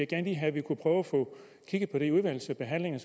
gerne have at vi kunne prøve at få kigget på det i udvalgsbehandlingen